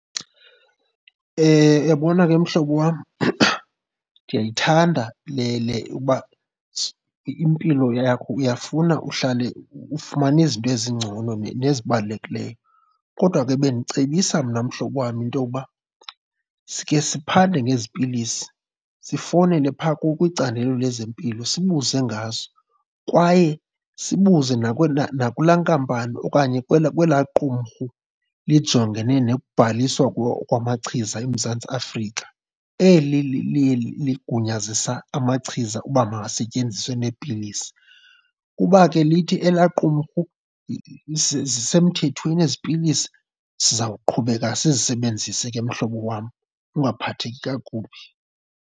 Uyabona ke mhlobo wam, ndiyayithanda le le uba impilo yakho uyafuna uhlale ufumana izinto ezingcono nezibalulekileyo. Kodwa ke bendicebisa mna mhlobo wam into yokuba sike siphande ngezi pilisi, sifowunele phaa kwicandelo lezempilo sibuze ngazo. Kwaye sibuze nakulaa nkampani okanye kwelaa, kwelaa qumrhu lijongene nekubhaliswa kwamachiza eMzantsi Afrika, eli liye ligunyazisa amachiza uba makasetyenziswe neepilisi. Uba ke lithi elaa qumrhu zisemthethweni ezi pilisi sizawuqhubeka sizisebenzise ke mhlobo wam, ungaphatheki kakubi.